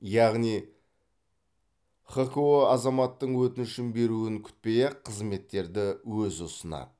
яғни хқо азаматтың өтініш беруін күтпей ақ қызметтерді өзі ұсынады